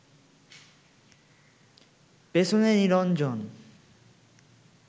পেছনে নিরঞ্জন